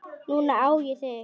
Núna á ég þig.